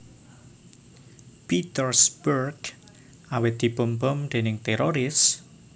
Petersburg awit dipun bom déning téroris